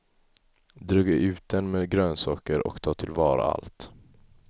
Dryga ut den med grönsaker och ta tillvara allt.